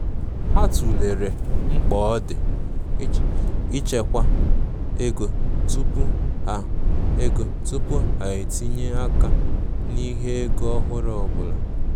Ha tụlere mkpa ọ di ịchekwa ego tupu ha ego tupu ha etinye-aka n'ihe ego ọhụrụ ọbụla.